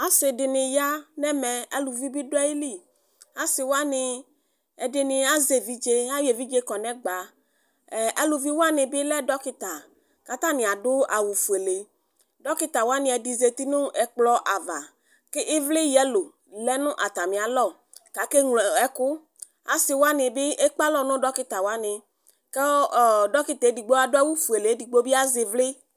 Asidini ya nɛmɛAluvi biduayiliAsiwani ɛdini azɛvidze, ayɔevidze kɔnɛgbaɛɛ aluvi wani bi lɛ dɔkita Katani adʋ awu fuele Dɔkita wani ɛdini zati nʋ ɛkplɔava Kʋ ivli yelo lɛ nʋ atamialɔ Kakeɣlo ɛkuAsiwani bi ɛkbalɔ nʋ dɔkita waniKʋ ɔɔ dɔkita wani adʋ awu fuele Edigbo bi azivli